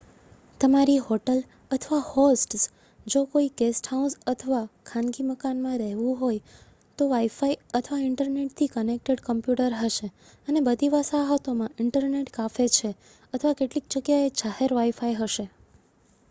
તમારી હોટલ અથવા હોસ્ટ્સ જો કોઈ ગેસ્ટહાઉસ અથવા ખાનગી મકાનમાં રહેવું હોય તો વાઇ-ફાઇ અથવા ઇન્ટરનેટથી કનેક્ટેડ કોમ્પ્યુટર હશે અને બધી વસાહતોમાં ઇન્ટરનેટ કાફે છે અથવા કેટલીક જગ્યાએ જાહેર વાઇ-ફાઇ હશે